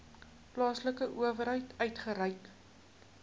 plaaslike owerheid uitgereik